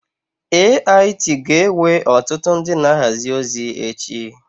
AIT ga-ewe ọtụtụ ndị na-ahazi ozi echi.